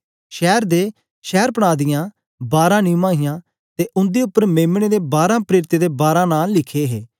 शैर दे शैरपनाह दियां बारां निवां हियां ते उंदे उपर मेम्ने दे बारां प्रेरितें दे बारां नां लिखे हे